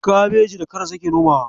Kabeji da karas yake nomawa.